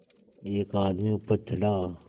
एक आदमी ऊपर चढ़ा